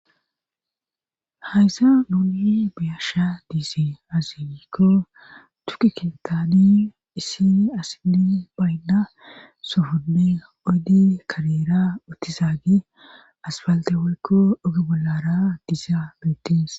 Hayssa nuuni biyasha diise azinikko tukki kintani issi asini baynda sufunne oydi kareera ottizaage asbalte waykko oge bollara diizaa beettes.